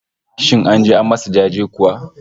Shin an je an masa jaje kuwa?